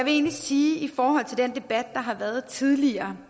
i forhold til den debat der har været tidligere